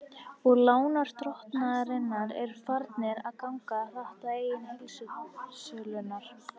Og lánardrottnarnir eru farnir að ganga hart að eignum heildsölunnar.